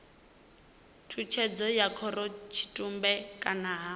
tshutshedzo ya khorotshitumbe kana ha